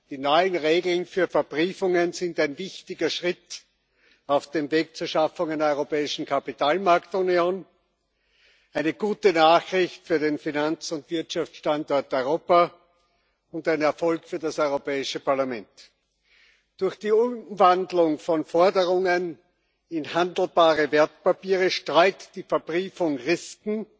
Die neuen Regeln für Verbriefungen sind ein wichtiger Schritt auf dem Weg zur Schaffung einer europäischen Kapitalmarktunion, eine gute Nachricht für den Finanz und Wirtschaftsstandort Europa und ein Erfolg für das Europäische Parlament. Durch die Umwandlung von Forderungen in handelbare Wertpapiere streut die Verbriefung Risken,